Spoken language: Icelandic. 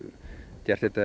gert þetta